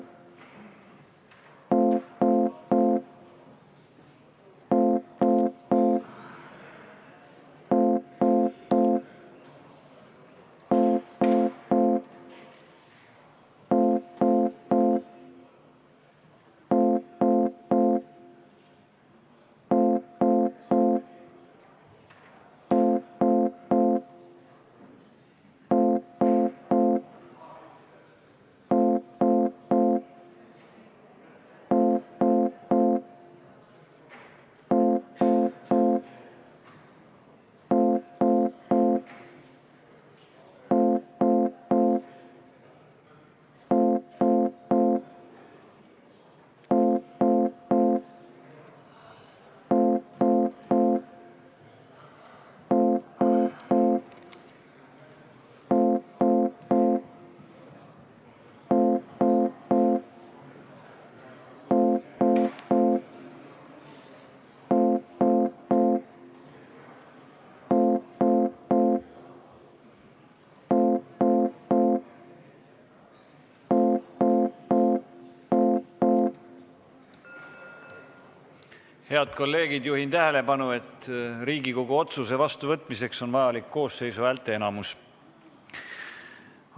Lugupeetud kolleegid, juhin tähelepanu, et Riigikogu otsuse vastuvõtmiseks on vaja koosseisu häälteenamust.